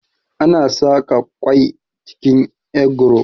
Ana saƙa kwai cikin egro